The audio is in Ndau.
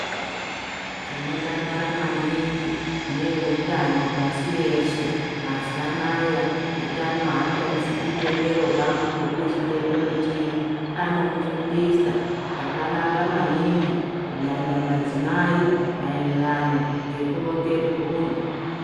Tinodakara maningi neutano pashi reshe mazuwa anaya utano haatarisi chitendero kuti uriwechitendrro chipimo anomufundisa zvakanaka maningi kunyanya madzimai maererano ngekuronga mburi.